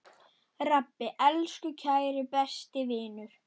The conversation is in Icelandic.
Rabbi, elsku, kæri, besti vinur.